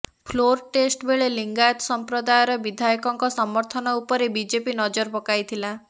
floor test ବେଳେ ଲିଙ୍ଗାୟତ ସମ୍ପ୍ରଦାୟର ବିଧାୟକଙ୍କ ସମର୍ଥନ ଉପରେ ବିଜେପି ନଜର ପକାଇଥିଲା